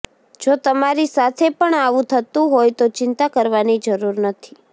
જો તમારી સાથે પણ આવું થતું હોય તો ચિંતા કરવાની જરૂર નથી